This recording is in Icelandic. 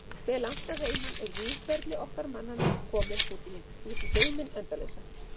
Hve langt að heiman er Víðförli okkar mannanna kominn út í geiminn endalausa?